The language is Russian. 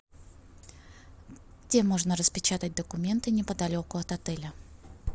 где можно распечатать документы неподалеку от отеля